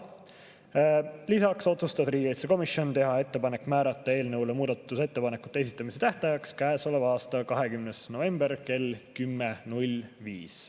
Lisaks otsustas riigikaitsekomisjon teha ettepaneku määrata eelnõu kohta muudatusettepanekute esitamise tähtajaks käesoleva aasta 20. november kell 10.05.